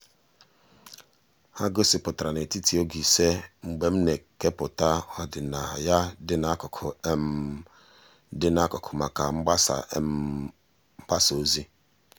ha gosipụtara n'etiti oge ịse mgbe m na-ekepụta ọdịnaya dị n'akụkụ dị n'akụkụ maka mgbasa ozi mgbasa ozi.